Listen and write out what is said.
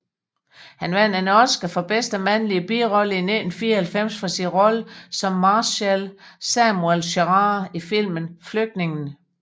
Han vandt en Oscar for bedste mandlige birolle i 1994 for sin rolle som marshal Samuel Gerard i filmen Flygtningen